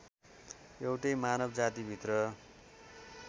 एउटै मानव जातिभित्र